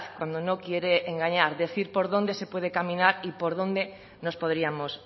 cuando no quiere engañar decir por dónde se puede caminar y por dónde nos podríamos